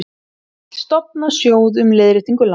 Vill stofna sjóð um leiðréttingu lána